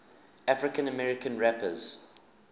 african american rappers